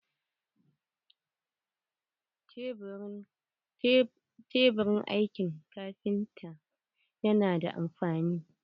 Taburin aikin kafinta yana da amfani.